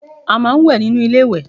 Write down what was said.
We take our bath inside bathroom